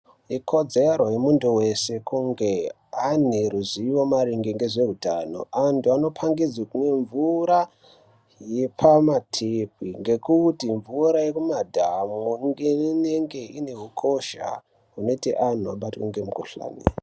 Ikodzero yemuntu wese, kunge ane ruzivo maringe ngezveutano. Antu anopangidzwe kumwe mvura yepamathepi ngekuti mvura yemumadhamu nge inenge ine ukosha, hunoite antu abatwe ngemukhuhlani.